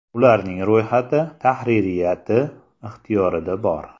Ularning ro‘yxati tahririyati ixtiyorida bor.